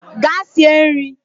Gaa sie nri!